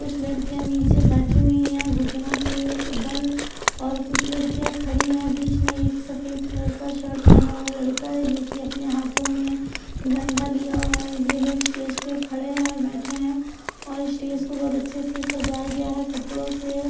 कुछ लड़किया नीचे बैठी हुई है घुटनो के बल और कुछ लड़किया खड़ी है और बीच में एक सफ़ेद कलर का शर्ट पहना हुआ लड़का है जो की अपने हाथो में झंडा लिया हुआ है ये लोग स्टेज पर खड़े है बैठे है और स्टेज को बहोत अच्छे से सजाया गया है कपड़ो से --